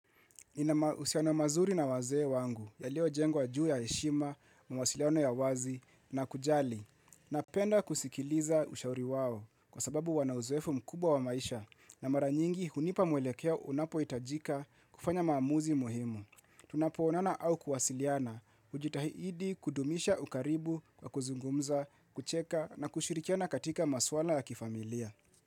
Usiano mazuri na wazee wangu ya lio jengwa juu ya heshima, mawasiliano ya uwazi na kujali. Napenda kusikiliza ushauri wao kwa sababu wanauzoefu mkubwa wa maisha na maranyingi hunipa mwelekeo unapo itajika kufanya maamuzi muhimu. Tunapo onana au kuwasiliana ujitahidi kudumisha ukaribu kwa kuzungumza, kucheka na kushirikiana katika masuala ya kifamilia.